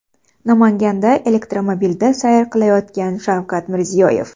Namanganda elektromobilda sayr qilayotgan Shavkat Mirziyoyev.